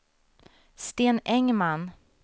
Sten Engman